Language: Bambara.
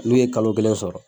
N'u ye kalo kelen sɔrɔ